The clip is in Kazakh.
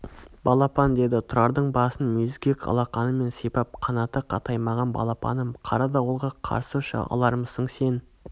балапан деді тұрардың басын мүйізгек алақанымен сыйпап қанаты қатаймаған балапаным қара дауылға қарсы ұша алармысың сен